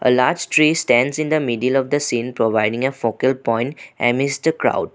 A large tree stands in the middle of the scene providing a focus point emissed the crowd.